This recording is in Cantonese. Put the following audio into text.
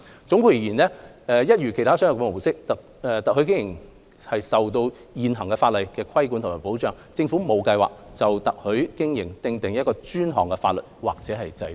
總括而言，一如其他商業模式，特許經營受現行法律規管及保障，政府並無計劃就特許經營訂定專項法例或制度。